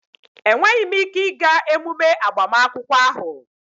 Enweghị m ike ịga emume agbamakwụkwọ ahụ